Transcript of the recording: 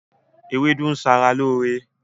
Ewédú ń ṣe ara lóore